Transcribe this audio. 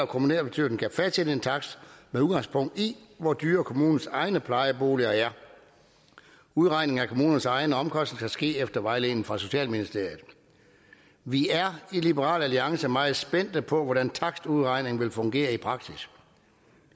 kommunalbestyrelsen kan fastsætte en takst med udgangspunkt i hvor dyre kommunens egne plejeboliger er udregningen af kommunernes egne omkostninger skal ske efter vejledningen fra socialministeriet vi er i liberal alliance meget spændte på hvordan takstudregningen vil fungere i praksis